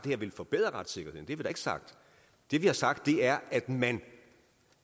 her vil forbedre retssikkerheden det har vi da ikke sagt det vi har sagt er at man